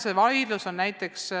See vaidlus jätkub.